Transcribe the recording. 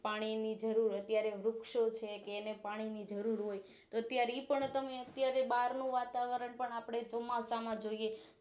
પાણી ની જરૂર અત્યારે વુક્ષો છે કે એને પાણી ની જરૂર હોય છે અત્યારે ઈ પણ તમે અત્યારે બારનું વાતાવરણપણ આપણે ચોમાસા માં જોઈએ છીએ